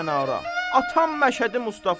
Atam Məşədi Mustafa.